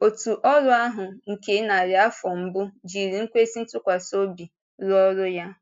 Òtù ọ́rụ ahụ nke narị afọ mbụ jiri ikwésị ntụkwasị obi rụọ ọrụ ya.